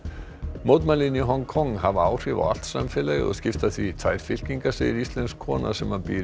mótmælin í Hong Kong hafa áhrif á allt samfélagið og skipta því í tvær fylkingar segir íslensk kona sem býr